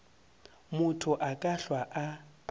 motho a ka hlwa a